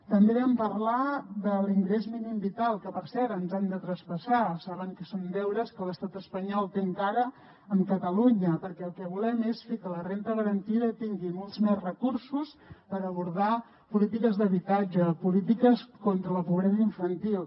també vam parlar de l’ingrés mínim vital que per cert ens han de traspassar saben que són deures que l’estat espanyol té encara amb catalunya perquè el que volem és fer que la renda garantida tingui molts més recursos per abordar polítiques d’habitatge o polítiques contra la pobresa infantil